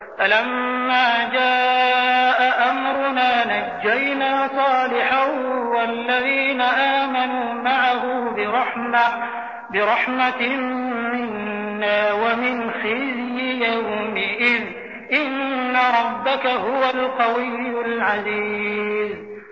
فَلَمَّا جَاءَ أَمْرُنَا نَجَّيْنَا صَالِحًا وَالَّذِينَ آمَنُوا مَعَهُ بِرَحْمَةٍ مِّنَّا وَمِنْ خِزْيِ يَوْمِئِذٍ ۗ إِنَّ رَبَّكَ هُوَ الْقَوِيُّ الْعَزِيزُ